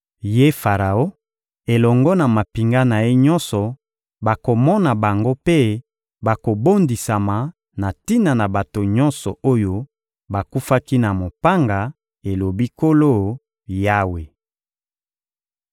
Ye Faraon elongo na mampinga na ye nyonso bakomona bango mpe bakobondisama na tina na bato nyonso oyo bakufaki na mopanga, elobi Nkolo Yawe.